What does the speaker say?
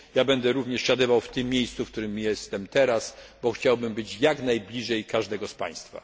Będę również zasiadał w tym miejscu, w którym jestem teraz, bo chciałbym być jak najbliżej każdego z państwa.